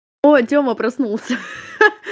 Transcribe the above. ой тёма проснулся ха-ха